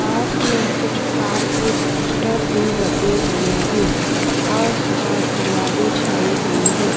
पास में कुछ कार के पोस्टर भी लगे हुए हैं आसपास हरियाली छाई हुई है।